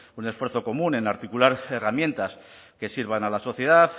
un esfuerzo común en articular herramientas que sirvan a la sociedad